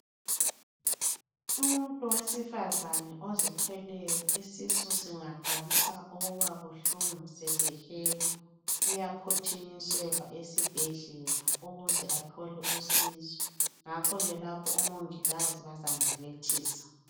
Umuntu wesifazane ozithweleyo isisu singaqalisa ukuba buhlungu sesihela ,uyaphuthumiselwa esibhedlela ukuze athole usizo ngakho ke lapho omongikazi bazambelethisa.